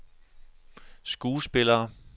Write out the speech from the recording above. skuespillere